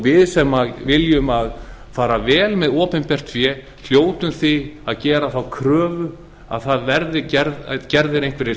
við sem viljum fara vel með opinbert fé hljótum því að gera þá kröfu að það verði gerðir einhverjir